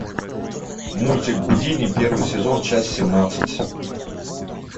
мультик гудини первый сезон часть семнадцать